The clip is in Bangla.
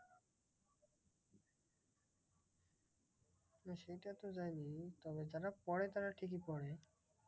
হম সেটা তো জানি তবে যারা পরে তারা ঠিকই পরে।